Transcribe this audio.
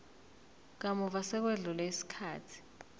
kamuva sekwedlule isikhathi